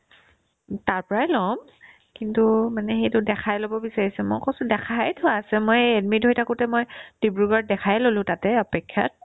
উম্, তাৰ পৰাই ল'ম কিন্তু মানে সেইটো দেখাই ল'ব বিচাৰিছো মই কৈছো দেখাই থোৱা আছে মই এই admit হৈ থাকোতে মই ডিব্ৰুগড়ত দেখাই ল'লো তাতে অপেক্ষাত